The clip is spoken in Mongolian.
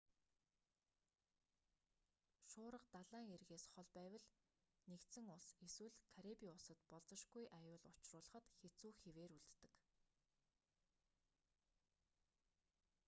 шуурга далайн эргээс хол байвал нэгдсэн улс эсвэл карибын улсад болзошгүй аюул учруулахад хэцүү хэвээр үлддэг